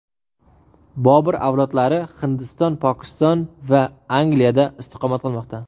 Bobur avlodlari Hindiston, Pokiston va Angliyada istiqomat qilmoqda.